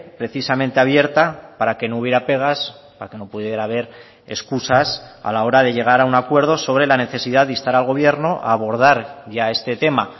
precisamente abierta para que no hubiera pegas para que no pudiera haber excusas a la hora de llegar a un acuerdo sobre la necesidad de instar al gobierno a abordar ya este tema